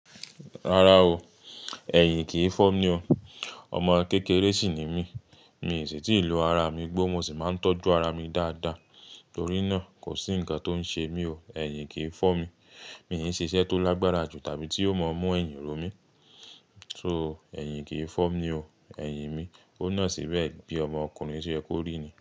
Rárá o, ẹ̀yìn kì í fọ́ mi o. Ọmọ kékeré sì ni mí mi sì ti lo ara mi gbó mo sì máa ń tọ́jú ara mi dáadáa, torí na kò sí ǹkan tó ń ṣemí ooo ẹ̀yìn kì fọ́mi mi ṣiṣẹ́ tó lágbára jù tàbí tí ó máa mú ẹ̀yìn rómi. So, ẹ̀yìn kì í fọ́ mi o, ẹ̀yìn mi, ó na síbẹ̀ bí ọmọ ọkùnrin tí ẹ kú rí ni.